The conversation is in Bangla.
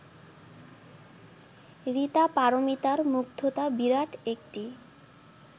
ঋতা পারমিতার মুগ্ধতা বিরাট একটি